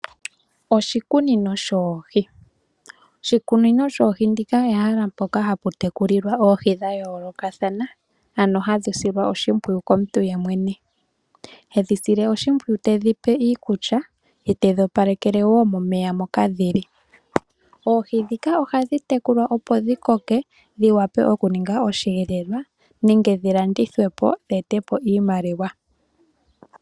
Oshikunino shoohi Oshikunino shoohi ndika ehala mpoka hali tekulilwa oohi dha yoolokathana, ano hadhi silwa oshimpwiyu komuntu yemwene. Hedhi sile oshimpwiyu tedhi pe iikulya ye tedhi opalekele wo momeya moka dhi li. Oohi ndhika ohadhi tekulwa opo dhi koke, dhi wape okuninga osheelelwa nenge dhi landithwe po dhi ete iimaliwa.